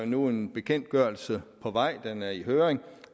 nu en bekendtgørelse på vej den er i høring